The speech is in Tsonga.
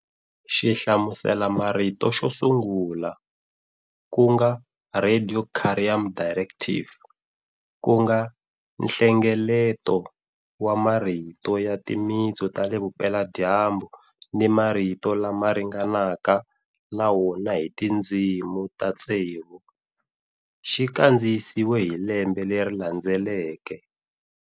Xihlamuselamarito xo sungula, ku nga Radicarium Directiv, ku nga nhlengeleto wa marito ya timitsu ta le Vupela-dyambu ni marito lama ringanaka na wona hi tindzimi ta tsevu, xi kandziyisiwe hi lembe leri landzeleke.